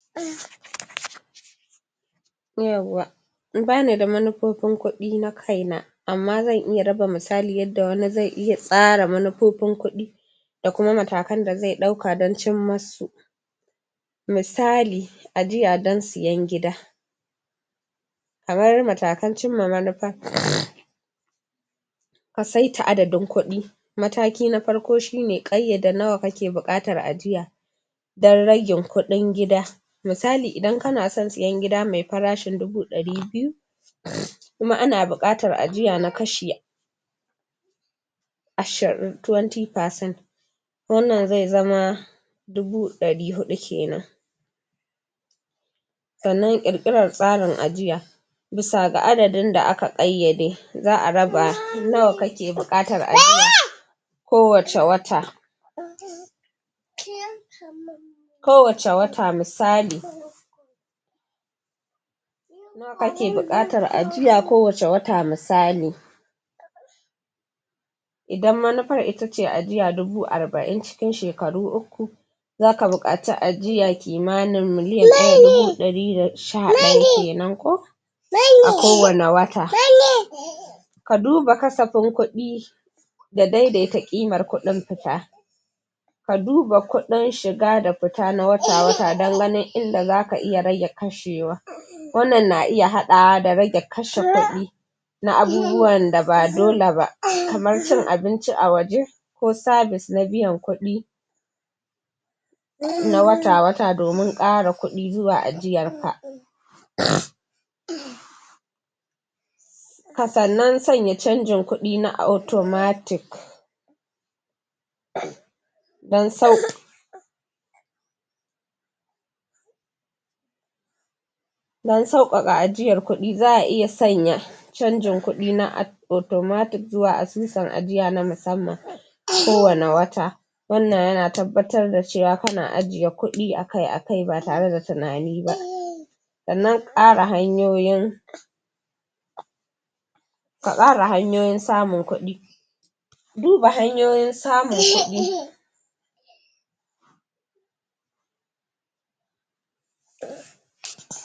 Yawwa Bani da manufofin kuɗi na kaina amma zan iya raba misali yanda wani zai iya tsara manufofin kuɗi da kuma matakan da zai ɗauka don cimmusu misali, ajiya don siyan gida kamar matan cimma manufa ka saita adadin kuɗi matakin na farko shine kayyada nawa kake buƙatar ajiya don rage kuɗin gida misali idan kana son siyan gida mai farashin dubu ɗari biyu, kuma ana buƙatar ajiya na kashi ashirin 20 percent wannan zai zama dubu dari hudu kenan sannan ƙirkiran tsarin ajiya bisa ga adadin da aka ƙayyade za a raba nawa kake bukatar ajiya ko wacce wata ko wacce wata misali ka ke bukatar ajiya ko wacce wata misali idan manufar itace ajiya dubu arba'in cikin shekaru uku za ka bukaci ajiya kimanin miliyan daya da dubu ɗari da sha ɗaya kenan koh a ko wanne wata ka duba kasafin kuɗi da daidaita ƙimar kudin fita ka duba kuɗin shiga da fita na wata wata don ganin inda za ka rage kashewa wannan na iya haɗawa da rage kashe kuɗi na abubuwan da ba dole ba kamar cin abinci a waje ko sabis na biyan kuɗi na wata wata domin ƙara kuɗi zuwa ajiyar ka hakanan zanya chanjin kuɗi na automatic don saukaka don sauƙaƙa ajiyar kuɗi za a iya sanya chanjin kudi na automtic zuwa asusun ajiya na musamman ko wanne wata wannan yana tabbatar da cewa kana ajiye kudi akai akai ba tare da tunani ba sannan ƙara hanyoyin ka ƙara hanyoyin samun kuɗi duba hanyoyin samun kuɗi